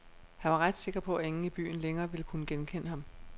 Han var ret sikker på, at ingen i byen længere ville kunne genkende ham.